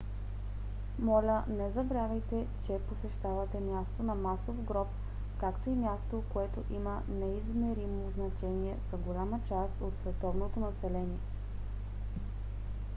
моля не забравяйте че посещавате място на масов гроб както и място което има неизмеримо значение за голяма част от световното население